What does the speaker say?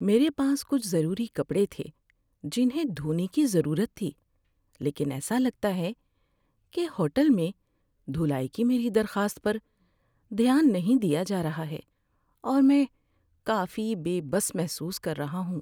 میرے پاس کچھ ضروری کپڑے تھے جنہیں دھونے کی ضرورت تھی لیکن ایسا لگتا ہے کہ ہوٹل میں دھلائی کی میری درخواست پر دھیان نہیں دیا جا رہا ہے اور میں کافی بے بس محسوس کر رہا ہوں۔